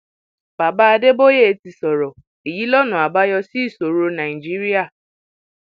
baba adébóyè ti sọrọ èyí lọnà àbáyọ sí ìṣòro nàìjíríà